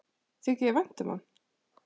Þykir þér vænt um hann?